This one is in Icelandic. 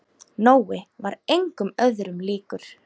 Nói var engum öðrum líkur.